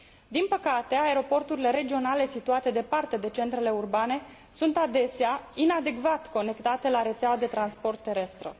Din păcate, aeroporturile regionale situate departe de centrele urbane sunt adesea inadecvat conectate la rețeaua de transport terestră.